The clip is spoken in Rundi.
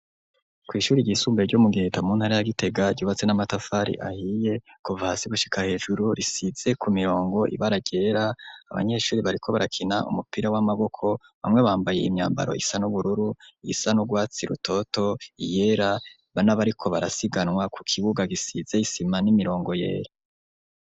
Kw'ishuri ryisumbuye ryo mu giheta mu ntara ya Gitega ryubatse n'amatafari ahiye kuva hasi gushika hejuru risize ku mirongo ibara ryera, abanyeshuri bariko barakina umupira w'amaboko bamwe bambaye imyambaro isa n'ubururu isa n'ugwatsi rutoto, iyera bana bariko barasiganwa ku kibuga gisize isima n'imirongo yera.